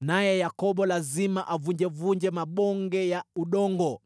naye Yakobo lazima avunjavunje mabonge ya udongo.